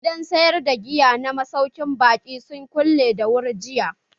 Gidan sayar da giya na masaukin baƙi sun kulle da wuri jiya.